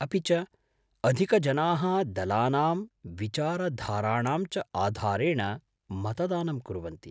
अपि च अधिकजना: दलानाम्, विचारधाराणां च आधारेण मतदानं कुर्वन्ति ।